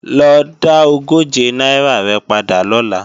Lo dá ogóje náírà rẹ̀ padà lọ́la!